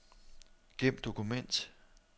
Gem dokument.